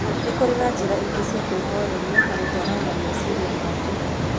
Nĩ kũrĩ njĩra ingĩ cia kwĩhoreria na gũtwarana na meciria maku.